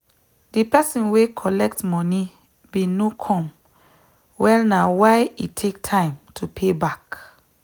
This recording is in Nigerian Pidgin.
the person were collect moni bin no come well na why e take time to payback